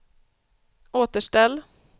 återställ